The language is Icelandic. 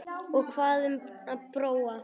Og hvað um Bróa?